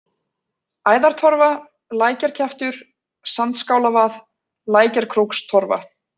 Æðartorfa, Lækjarkjaftur, Sandskálavað, Lækjarkrókstorfa